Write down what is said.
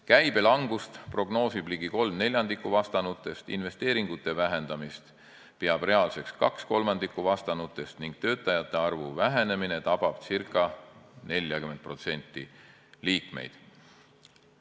Käibe langust prognoosib ligi kolm neljandikku vastanutest, investeeringute vähendamist peab reaalseks kaks kolmandikku vastanutest ning töötajate arvu vähenemine tabab ca 40% liikmeid.